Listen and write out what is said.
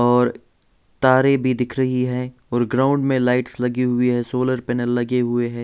और तारे भी दिख रही हैं और ग्राउंड में लाइट्स लगी हुई हैं सोलर पैनल लगे हुए हैं।